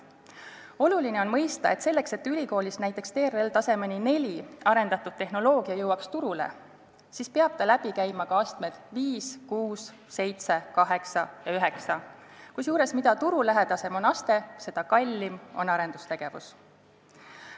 Oluline on mõista, et selleks, et ülikoolis näiteks TRL-tasemeni 4 arendatud tehnoloogia jõuaks turule, peab ta läbi käima ka astmed 5, 6, 7, 8 ja 9, kusjuures, mida turulähedasem on aste, seda kallim on arendustegevus.